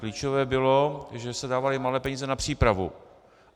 Klíčové bylo, že se dávaly malé peníze na přípravu.